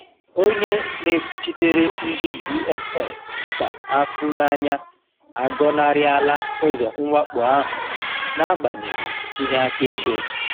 Onye na-ekwuchitere ndi DSS, Peter Afunanya, agọnarịa la ụzọ mwakpo ahụ n'agbanyeghị ihe akaebe.